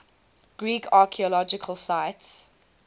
greek archaeological sites